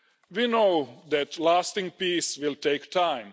We know that lasting peace will take time.